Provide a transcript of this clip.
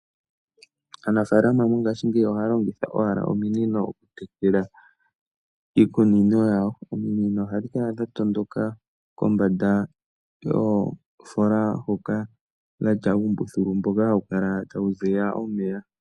Aanafalama mongashingeyi oha longitha owala ominino oku tekela iikunino yawo. Ominino ohadhi kala owala dha tondoka kombanda yoofola hoka. Dhatya uumbuthulu mboka hawu kala tawu ziya omeya.